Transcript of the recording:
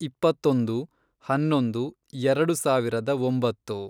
ಇಪ್ಪತ್ತೊಂದು, ಹನ್ನೊಂದು ಎರೆಡು ಸಾವಿರದ ಒಂಬತ್ತು